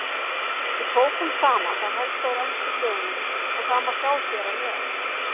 Við tókum saman það helsta úr ensku blöðunum og það má sjá hér að neðan.